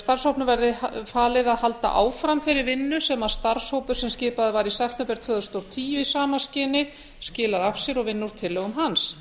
starfshópnum verði falið að halda áfram þeirri vinnu sem starfshópur sem skipaður var í september tvö þúsund og tíu í sama skyni skilaði af sér og vinna úr tillögum hans